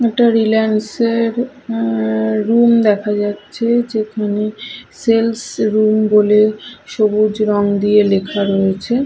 একটা রিলায়েন্স এর অ্যা রুম দেখা যাচ্ছে যেখানে সেলস রুম বলে সবুজ রং দিয়ে লেখা রয়েছে।